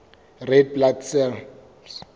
red blood cells